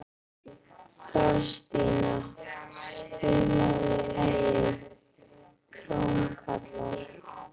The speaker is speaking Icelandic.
Þorstína, spilaðu lagið „Krómkallar“.